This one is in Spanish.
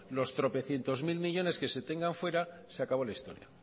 los tropecientosmil millónes que se tengan fuera se acabó la historia